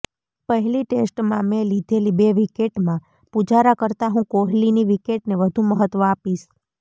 પહેલી ટેસ્ટમાં મેં લીધેલી બે વિકેટમાં પુજારા કરતાં હું કોહલીની વિકેટને વધુ મહત્વ આપીશ